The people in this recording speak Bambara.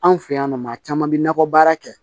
Anw fɛ yan nɔ maa caman bi nakɔ baara kɛ